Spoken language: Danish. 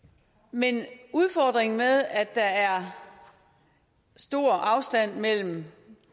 men udfordringen med at der er stor afstand mellem